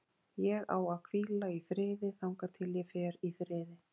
Ég á að hvíla í friði þangað til ég fer í friði.